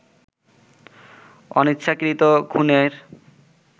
অনিচ্ছাকৃত খুনের